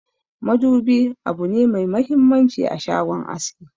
Madubi abune me muhimmanci a shagon aski.